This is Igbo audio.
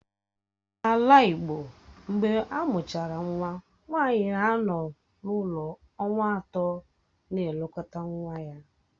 N'ala igbo, mgbe amụchara nwa nwanyi na-anọ n'ụlọ ọnwa atọ na-elekọta nwa ya